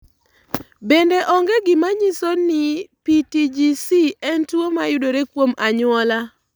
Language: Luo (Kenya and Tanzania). Bende, onge gima nyiso ni PTGC en tuwo mayudore kuom anyuola.